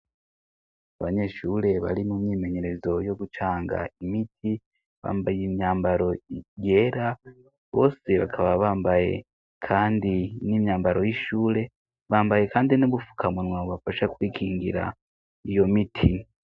Abanyeshure bari mu myimenyerezo yo gucanga imiti. Bambaye imyambaro yera, bose bakaba bambaye kandi n'imyambaro y'ishure. Bambaye kandi n'ubufukamunwa bubafasha kwikingira iyo miti.